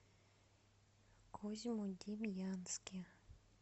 козьмодемьянске